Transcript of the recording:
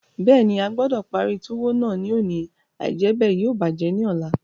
Bẹ́ẹ̀ni, a gbọdọ̀ parí túwó náà ní òní, àìjẹ́bẹ̀ yóò bàjẹ́ ní ọ̀la.